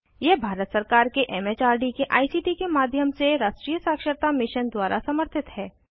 यह भारत सरकार के एम एच आर डी के आई सी टी के माध्यम से राष्ट्रीय साक्षरता मिशन द्वारा समर्थित है